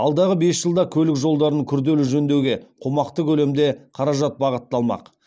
алдағы бес жылда көлік жолдарын күрделі жөндеуге қомақты көлемде қаражат бағытталмақ